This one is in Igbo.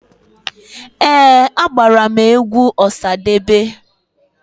Ee, agbara m egwu Ọsadebe.